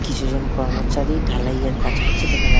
কিছু জন কর্মচারী ঢালাইয়ের কাজ করছে দেখা মনে--